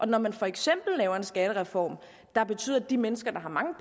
når man for eksempel laver en skattereform der betyder at de mennesker der har mange